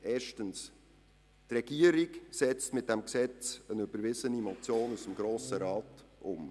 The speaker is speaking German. Erstens setzt die Regierung mit diesem Gesetz einen überwiesenen Vorstoss aus dem Grossen Rat um.